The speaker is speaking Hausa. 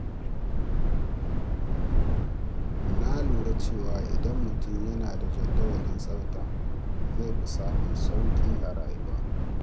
Na lura cewa idan mutum yana da jadawalin tsafta, zai fi samun sauƙi a rayuwa.